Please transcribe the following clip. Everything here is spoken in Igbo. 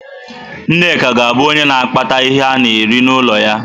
Nneka ga-abụ onye na-akpata ihe ana-eri n'ụlọ ya.